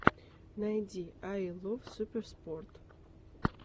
найди ай лов суперспорт